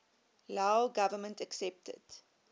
lao government accepted